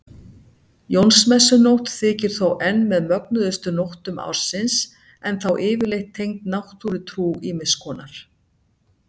Jónsmessunótt þykir þó enn með mögnuðustu nóttum ársins en þá yfirleitt tengd náttúrutrú ýmiss konar.